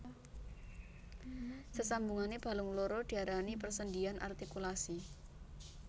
Sesambungane balung loro diarani persendhian artikulasi